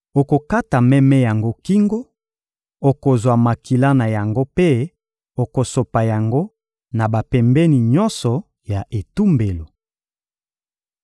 Okokata meme yango kingo, okozwa makila na yango mpe okosopa yango na bapembeni nyonso ya etumbelo.